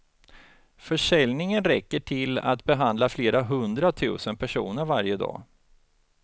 Försäljningen räcker till att behandla flera hundra tusen personer varje dag.